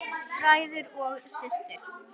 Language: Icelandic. Bræður og systur!